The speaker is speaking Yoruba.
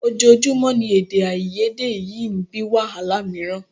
Ojoojúmọ́ ni èdèàìyedè yìí ń bí wàhálà mìíràn